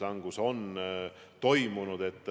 Palun!